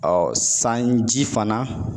sanji fana